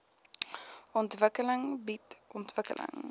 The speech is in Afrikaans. ontwikkeling bied ontwikkeling